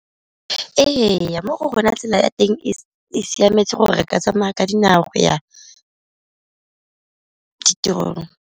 Ee, mo go rona tsela ya teng e siametse gore re ka tsamaya ka dinao ya di tirong.